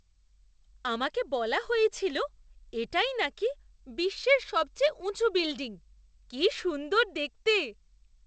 আমাকে বলা হয়েছিল এটাই নাকি বিশ্বের সবচেয়ে উঁচু বিল্ডিং। কি সুন্দর দেখতে!